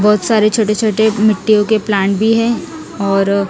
बहोत सारे छोटे छोटे मिट्ठीयो का प्लांट भी है और--